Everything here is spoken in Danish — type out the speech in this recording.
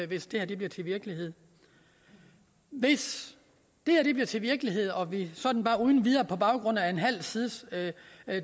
hvis det her bliver til virkelighed hvis det her bliver til virkelighed og vi sådan bare uden videre på baggrund af en halv sides